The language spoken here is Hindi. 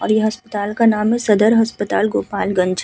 और इ अस्पताल का नाम है सदर अस्पताल गोपालगंज।